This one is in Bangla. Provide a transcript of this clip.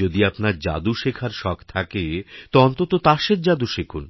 যদি আপনার জাদু শেখার শখথাকে তো অন্তত তাসের জাদু শিখুন